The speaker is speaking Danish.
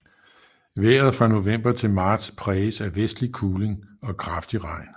Vejret fra november til marts præges af vestlig kuling og kraftig regn